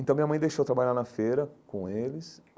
Então minha mãe deixou eu trabalhar na feira com eles.